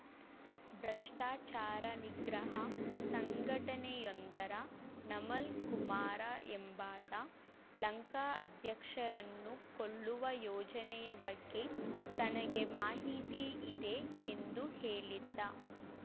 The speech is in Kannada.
ಭ್ರಷ್ಟಾಚಾರ ನಿಗ್ರಹ ಸಂಘಟನೆಯೊಂದರ ನಮಲ್‌ ಕುಮಾರ ಎಂಬಾತ ಲಂಕಾ ಅಧ್ಯಕ್ಷರನ್ನು ಕೊಲ್ಲುವ ಯೋಜನೆಯ ಬಗ್ಗೆ ತನಗೆ ಮಾಹಿತಿ ಇದೆ ಎಂದು ಹೇಳಿದ್ದ